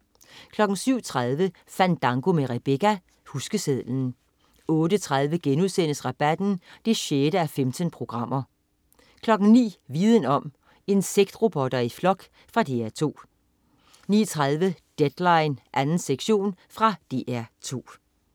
07.30 Fandango med Rebecca. Huskesedlen 08.30 Rabatten 6:15* 09.00 Viden om: Insektrobotter i flok. Fra DR 2 09.30 Deadline 2. sektion. Fra DR 2